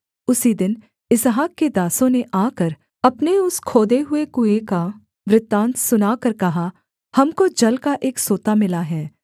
उसी दिन इसहाक के दासों ने आकर अपने उस खोदे हुए कुएँ का वृत्तान्त सुनाकर कहा हमको जल का एक सोता मिला है